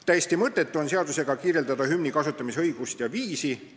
Täiesti mõttetu on seadusega kirjeldada hümni kasutamise õigust ja viisi.